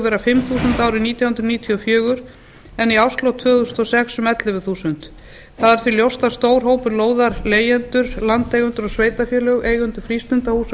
vera fimm þúsund árið nítján hundruð níutíu og fjögur en í árslok tvö þúsund og sex um ellefu þúsund það er því ljóst að stór hópur lóðarleigjendur landeigendur og sveitarfélög eigendur frístundahúsa og